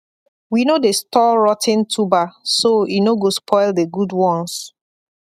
we no dey store rot ten tuber so e no go spoil the good ones